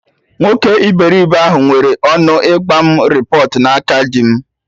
Nwoke iberibe ahụ nwere ọnụ ịgba mụ repọt na aka dim